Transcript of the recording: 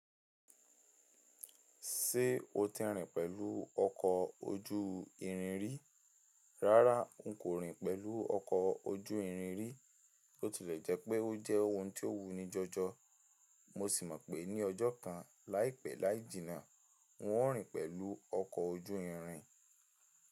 Ṣé o ti rìn pẹ̀lú ọkọ̀ ojú irin rí? Rárá, n kò rìn pẹ̀lú ọkọ̀ ojú irin rí, bó tilẹ̀ jẹ́ pé ó jẹ́ ohun tó wu níjọjọ, mo sì mọ̀ pé ní ọjọ́ kan láìpẹ́ láì jìnà, n ó rìn pẹ̀lú ọkọ̀ ojú irin.